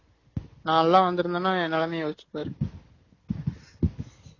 நான்லாம் வந்துருந்தேன என் நிலைமைய யோசிச்சு பாரு